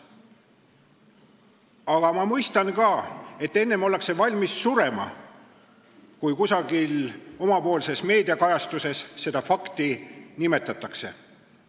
Aga ma mõistan ka, et enne ollakse valmis surema, kui et kusagil oma meediakajastuses seda fakti nimetatakse.